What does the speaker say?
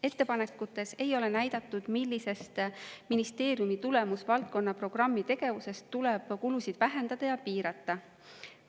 Ettepanekutes ei ole näidatud, millisest ministeeriumi tulemusvaldkonna programmi tegevusest tuleb kulusid vähendada ja piirata.